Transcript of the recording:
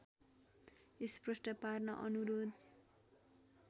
स्पष्ट पार्न अनुरोध